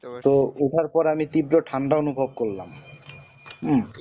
তো ওঠার পর আমি তীব্র ঠান্ডা অনুভব করলাম হম